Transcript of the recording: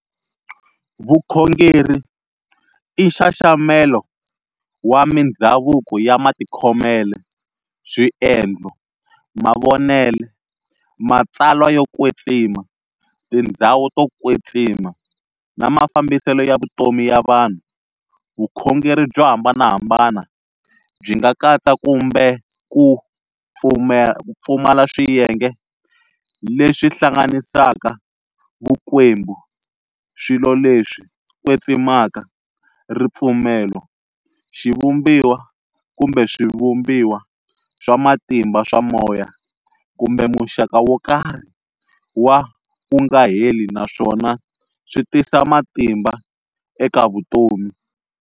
Vukhongeri i nxaxamela wa mindzhavuko ya matikhomele, swiendlo, mavonele, matsalwa yo kwetsima, tindzhawu to kwetsima na mafambisele ya vutomi ya vanhu. Vukhongeri byo hambanahambana byi nga katsa kumbe ku pfumala swiyenge leswi hlanganisaka "Vukwembu","swilo leswi kwetsimaka","Ripfumelo","Xivumbiwa kumbe swivumbiwa swa matimba swa moya" kumbe muxaka wokarhi wa "ku nga heli naswona swi tisa matimba eka vutomi."